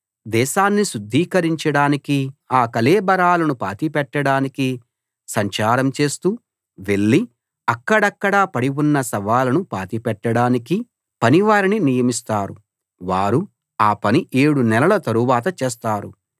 దేశాన్ని శుద్ధీకరించడానికీ ఆ కళేబరాలను పాతిపెట్టడానికీ సంచారం చేస్తూ వెళ్ళి అక్కడక్కడా పడి ఉన్న శవాలను పాతిపెట్టడానికీ పనివారిని నియమిస్తారు వారు ఆ పని ఏడు నెలల తరువాత చేస్తారు